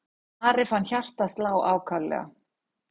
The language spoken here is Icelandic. Ari fann hjartað slá ákaflega.